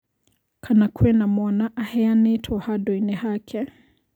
Kana kwĩna mwana aheanĩtwo handũinĩ hake.